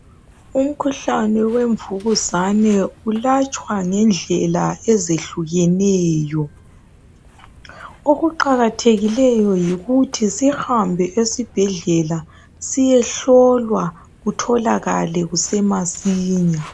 Umkhuhlane wemvukuzane ulatshwa ngendlela ezehlukeneyo okuqakathekileyo yikuthi sihambe esibhedlela siyehlolwa utholakale kusemasinya.